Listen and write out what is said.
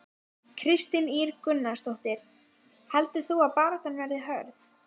Kristín Ýr Gunnarsdóttir: Heldur þú að baráttan verði hörð?